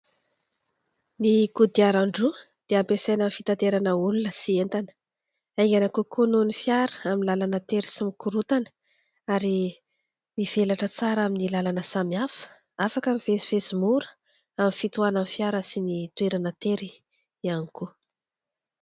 Ny kodiaran-droa dia ampiasana amin'ny fitaterana olona sy entana ; aingana kokoa noho ny fiara amin'ny lalana tery sy mikorontana ary mivelatra tsara amin'ny lalana samihafa, afaka mivezivezy mora amin'ny fitohanan'ny fiara sy ny toerana tery ihany koa.